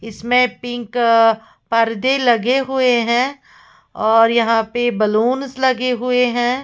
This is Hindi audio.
इसमें पिंक परदे लगे हुए हैं और यहां पे बलूंस लगे हुए हैं।